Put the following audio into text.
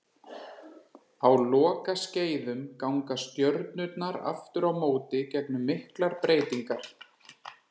Á lokaskeiðum ganga stjörnurnar aftur á móti gegnum miklar breytingar.